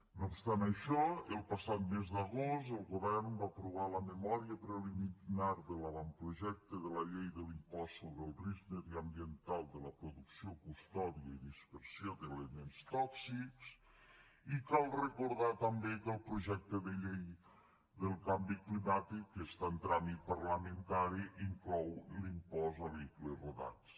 no obstant això el passat mes d’agost el govern va aprovar la memòria preliminar de l’avantprojecte de llei de l’impost sobre el risc mediambiental de la producció custòdia i dispersió d’elements tòxics i cal recordar també que el projecte de llei del canvi climàtic està en tràmit parlamentari i inclou l’impost a vehicles rodats